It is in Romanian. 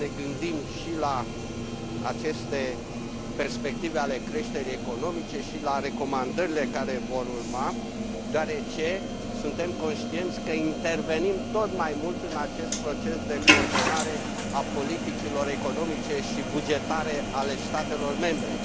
Trebuie să ne gândim și la aceste perspective ale creșterii economice și la recomandările care vor urma, deoarece suntem conștienți că intervenim tot mai mult în acest proces de coordonare a politicilor economice și bugetare ale statelor membre.